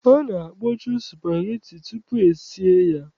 A na-akpọchu spageti tutu esie ya.